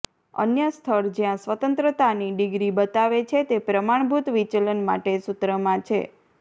અન્ય સ્થળ જ્યાં સ્વતંત્રતાની ડિગ્રી બતાવે છે તે પ્રમાણભૂત વિચલન માટે સૂત્રમાં છે